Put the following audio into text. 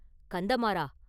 “கந்தமாறா!